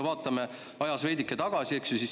Vaatame ajas veidike tagasi.